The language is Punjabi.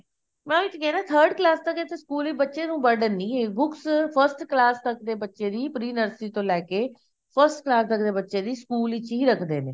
ਮੈਂ ਉਹੀ ਤੇ ਕਿਹਾ ਨਾ third class ਤੱਕ ਇੱਥੇ ਸਕੂਲ ਵਿੱਚ burden ਨੀ ਏ books first class ਤੱਕ ਦੇ ਬੱਚੇ ਦੀ pre nursery ਤੋਂ ਲੈਕੇ first class ਤੱਕ ਦੇ ਬੱਚੇ ਦੀ ਸਕੂਲ ਵਿੱਚ ਹੀ ਰੱਖਦੇ ਨੇ